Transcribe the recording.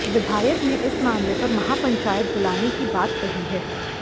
विधायक ने इस मामले पर महापंचायत बुलाने की बात कही है